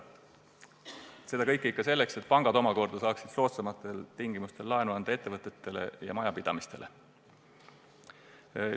Seda kõike ikka selleks, et pangad saaksid omakorda soodsamatel tingimustel ettevõtetele ja majapidamistele laenu anda.